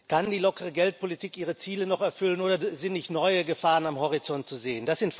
Kann die lockere Geldpolitik ihre Ziele noch erfüllen oder sind nicht neue Gefahren am Horizont zu sehen?